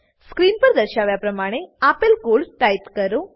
screen પર દર્શાવ્યા પ્રમાણે આપેલ કોડ ટાઈપ કરો